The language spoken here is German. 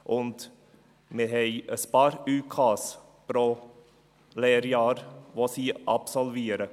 Und wir haben ein paar ÜK pro Lehrjahr, die sie absolvieren.